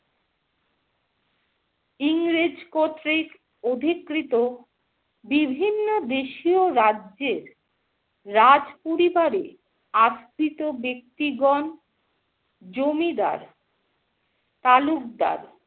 ইংরেজ কর্তৃক অধিকৃত বিভিন্ন দেশীয় রাজ্যোর রাজপরিবারে আশ্রিত ব্যাক্তিগণ, জমিদার, তালুকদার